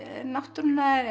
náttúrunnar